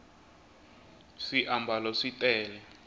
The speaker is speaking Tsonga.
swiambalo swi tele